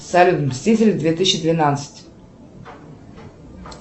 салют мстители две тысячи двенадцать